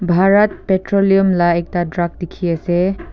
bharat petroleum lah ekta truck dikhi ase.